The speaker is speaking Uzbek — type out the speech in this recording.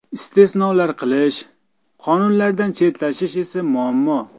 Istisnolar qilish, qonunlardan chetlashish esa muammo.